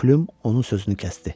Plüm onun sözünü kəsdi.